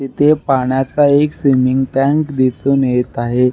येथे पाणयाचा एक स्विमिंग टॅंक दिसुन येत आहे.